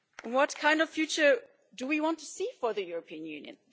What kind of future do we want to see for the European Union?